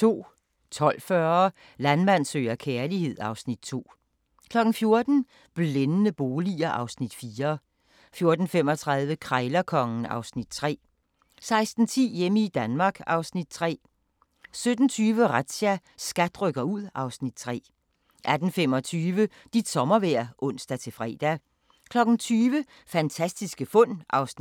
12:40: Landmand søger kærlighed (Afs. 2) 14:00: Blændende boliger (Afs. 4) 14:35: Krejlerkongen (Afs. 3) 16:10: Hjemme i Danmark (Afs. 3) 17:20: Razzia – SKAT rykker ud (Afs. 3) 18:25: Dit sommervejr (ons-fre) 20:00: Fantastiske fund (3:10) 20:50: Loppe Deluxe (Afs. 8) 21:25: Razzia – SKAT rykker ud 22:45: Krop umulig – børn